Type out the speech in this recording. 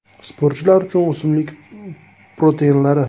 Sportchilar uchun o‘simlik proteinlari.